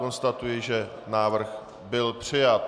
Konstatuji, že návrh byl přijat.